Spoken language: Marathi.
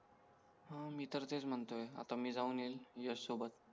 हां मी तर तेच म्हणतोय आता मी जाऊन येईल यश सोबत